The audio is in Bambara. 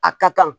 A ka kan